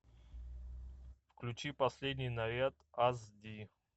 включи последний наряд ас ди